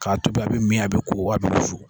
K'a tobi a be mi a be ko a be wusu kɔ